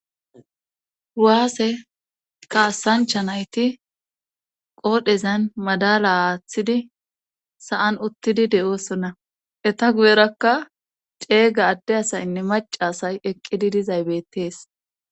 Waase kaasancha nayti qoodhezan madala aathidi sa7an uttidi de7oosona eta guyerakka ceega adde asaynne macasay eqqidi dizay beettees.